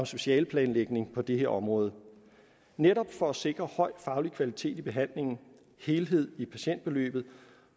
specialeplanlægning på det her område netop for at sikre høj faglig kvalitet i behandlingen helhed i patientforløbet